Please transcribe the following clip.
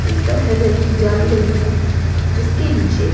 ऊपर हरे रंग की जाली लगी है जिसके नीचे--